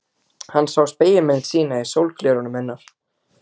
Hann sá spegilmynd sína í sólgleraugunum hennar.